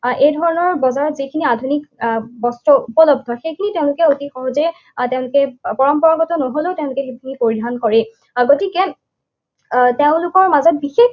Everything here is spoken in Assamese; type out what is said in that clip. আহ এই ধৰণৰ বজাৰত যিখিনি আধুনিক আহ বস্ত্ৰ উপলব্ধ, সেইখিনি তেওঁলোকে অতি সহজে তেওঁলোকে পৰম্পৰাগত নহলেও তেওঁলোকে সেইখিনি পৰিধান কৰেই। গতিকে আহ তেওঁলোকৰ মাজত বিশেষ